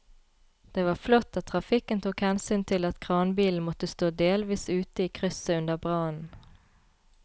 Det var flott at trafikken tok hensyn til at kranbilen måtte stå delvis ute i krysset under brannen.